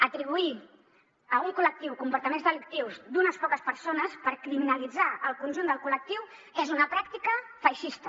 atribuir a un col·lectiu comportaments delictius d’unes poques persones per criminalitzar el conjunt del col·lectiu és una pràctica feixista